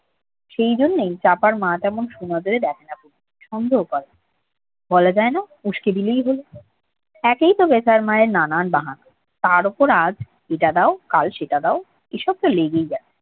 সেই জন্যই চাপার মা তেমন সুনজরে দেখেনা কমুকে সন্দেহ করে বলা যায় না উসকে দিলেই হল একই তো বেতার মায়ের নানান বাহানা কাল এটা দাও আজ সেটা দাও এসব তো ই আছে